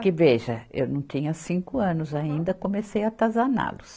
Que veja, eu não tinha cinco anos ainda, comecei a atazaná-los.